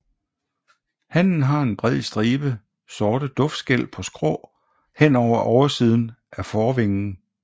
Hannen har en bred stribe sorte duftskæl på skrå hen over oversiden af forvingen